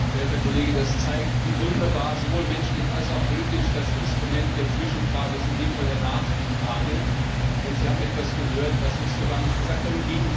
Verehrter Herr Kollege! Das zeigt, wie wunderbar, sowohl menschlich als auch politisch, das Instrument der Zwischenfrage ist, in diesem Fall der Nachfrage. Denn Sie haben etwas gehört, was ich so gar nicht gesagt habe.